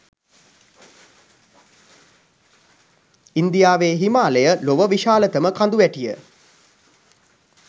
ඉන්දියාවේ හිමාලය ලොව විශාලතම කඳුවැටිය